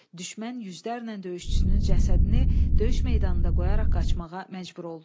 Düşmən yüzlərlə döyüşçüsünün cəsədini döyüş meydanında qoyaraq qaçmağa məcbur oldu.